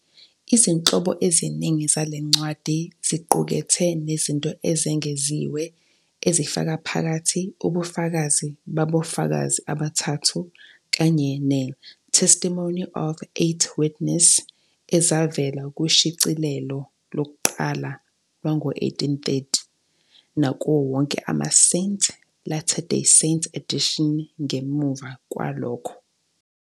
Izinhlobo eziningi zale ncwadi ziqukethe nezinto ezengeziwe, ezifaka phakathi "Ubufakazi BaboFakazi Abathathu" kanye ne- "Testimony of Eight Witness" ezavela kushicilelo lokuqala lwango-1830 nakuwo wonke ama-Saint Latter-day Saint edition ngemuva kwalokho.